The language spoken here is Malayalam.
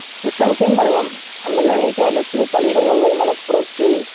നിസ്സംശയം പറയാം അങ്ങനെയി കേരളത്തില് പലയിടങ്ങളില് മലപ്പുറത്ത്